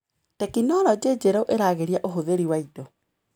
Tekinologĩ njerũ ĩragĩria ũhũthĩri wa indo.